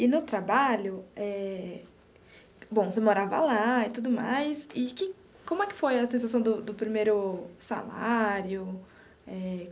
E no trabalho eh, bom, você morava lá e tudo mais, e que como é que foi a sensação do do primeiro salário? Eh.